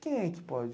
Quem é que pode?